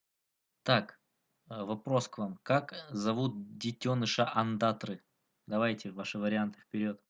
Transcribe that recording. так вопрос к вам как зовут детёныша ондатры давайте ваши варианты вперёд